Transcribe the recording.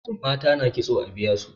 mata na kitso a biya su